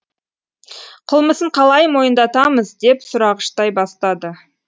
қылмысын қалай мойындатамыз деп сұрағыштай бастады